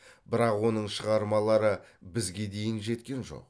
бірақ оның шығармалары бізге дейін жеткен жоқ